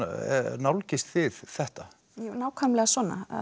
nálgist þið þetta nákvæmlega svona